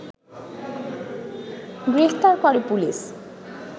গ্রেপ্তার করে পুলিশ